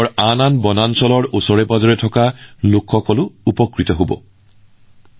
দেশৰ অন্যান্য বনাঞ্চলত বসবাস কৰা লোকসকলেও ছত্তীশগড়ৰ এই অনন্য পদক্ষেপ আৰু ইয়াৰ অভিজ্ঞতাৰ সুবিধা লব পাৰে